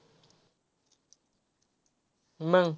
मंग.